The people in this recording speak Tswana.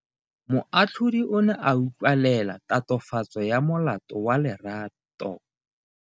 Moatlhodi o ne a utlwelela tatofatso ya molato wa Lerato.